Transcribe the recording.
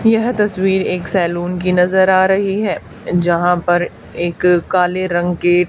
यह तस्वीर एक सैलून की नजर आ रही है जहां पर एक काले रंग के--